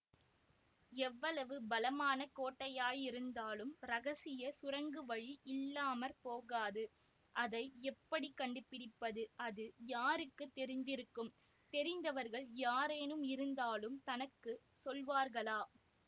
எவ்வளவு பலமான கோட்டையாயிருந்தாலும் இரகசிய சுரங்கவழி இல்லாம போகாது அதை எப்படி கண்டுபிடிப்பது அது யாருக்கு தெரிந்திருக்கும் தெரிந்தவர்கள் யாரேனும் இருந்தாலும் தனக்கு சொல்வார்களா